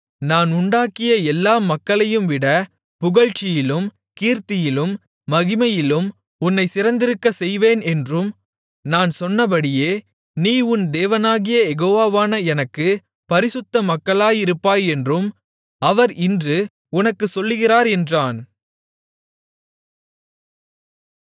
நான் உண்டாக்கிய எல்லா மக்களையும்விட புகழ்ச்சியிலும் கீர்த்தியிலும் மகிமையிலும் உன்னைச் சிறந்திருக்கச் செய்வேன் என்றும் நான் சொன்னபடியே நீ உன் தேவனாகிய யெகோவாவான எனக்குப் பரிசுத்த மக்களாயிருப்பாய் என்றும் அவர் இன்று உனக்குச் சொல்லுகிறார் என்றான்